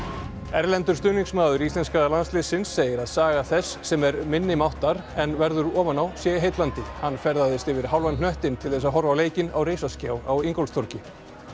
erlendur stuðningsmaður íslenska landsliðsins segir að saga þess sem er minnimáttar en verður ofan á sé heillandi hann ferðaðist yfir hálfan hnöttinn til þess að horfa á leikinn á risaskjá á Ingólfstorgi